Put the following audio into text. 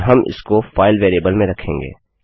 और हम इसको फाइल वेरिएबल में रखेंगे